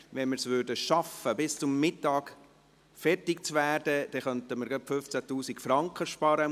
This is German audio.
Wenn wir es schaffen würden, bis am Mittag fertig zu werden, könnten wir dem Kanton 15 000 Franken sparen.